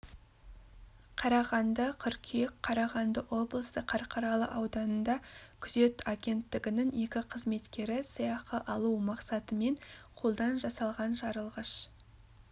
қарағанды қыркүйек қарағанды облысы қарқаралы ауданында күзет агенттігінің екі қызметкері сыйақы алу мақсатымен қолдан жасалған жарылғаш